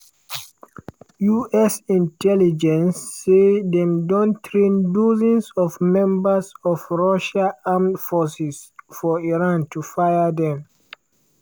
us intelligence say dem don train dozens of members of russia armed forces for iran to fire dem.